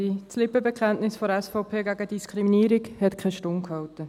Das Lippenbekenntnis der SVP gegen Diskriminierung hat keine Stunde gehalten.